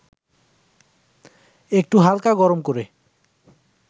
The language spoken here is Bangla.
একটু হালকা গরম করে